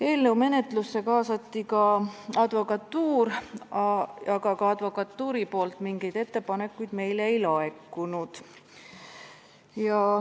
Eelnõu menetlusse kaasati ka advokatuur, ka sealt meile mingeid ettepanekuid ei laekunud.